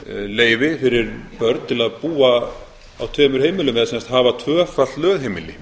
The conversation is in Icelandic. leyfi fyrir börn til að búa á tveimur heimilum eða sem sagt hafa tvöfalt lögheimili